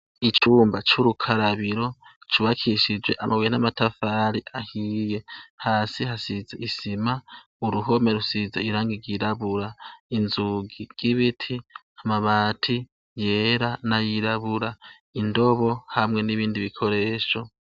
Icumba c'urukarabiro ,cubakishije amabuye n'amatafari ahiye ,hasi hasize isima uruhome rusize irangi ryirabura, inzugi y'ibiti amabati yera n'ayirabura, indobo hamwe n'ibindi bikoresho